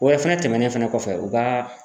O yɛrɛ fɛnɛ tɛmɛnen fɛnɛ kɔfɛ u ka